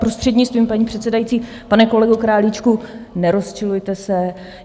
Prostřednictvím paní předsedající, pane kolego Králíčku, nerozčilujte se.